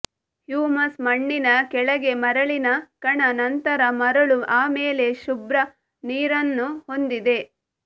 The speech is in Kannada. ಹ್ಯೂಮಸ್ ಮಣ್ಣಿನ ಕೆಳಗೆಮರಳಿನ ಕಣ ನಂತರ ಮರಳು ಆಮೇಲೆ ಶುಭ್ರ ನೀರನ್ನು ಹೊಂದಿದೆ